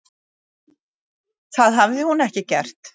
Það hafi hún ekki gert.